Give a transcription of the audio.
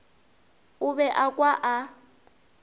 o be a kwa a